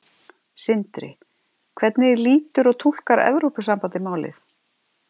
Sindri: Hvernig lítur og túlkar Evrópusambandið málið?